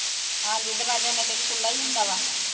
ਹਾਂਜੀ ਦਰਵਾਜ਼ਾ ਓਨਾ ਚਿਕਰ ਖੁੱਲਾ ਹੀ ਹੁੰਦਾ ਵਾ